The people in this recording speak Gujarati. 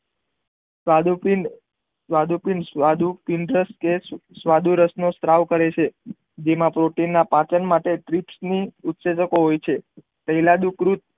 સ્વાદુપિંડ સ્વાદુપિંડ સ્વાદુપિંડ કે છે સાદુરસ નો સ્ત્રાવ કરે છે જેમાં પ્રોટીન ના પાચન માટે ગ્રિસમી ઉસેચકો હોય છે તેલબિત કૃત